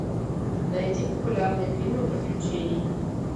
найди популярные фильмы приключений